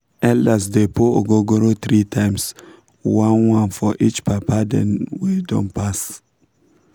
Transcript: elders dey pour ogogoro three times — one-one for each papa dem wey don pass.